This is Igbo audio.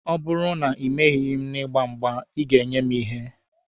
Ọ bụrụ na ị merighi m na ịgba mgba, Ị ga-enye mụ ihe.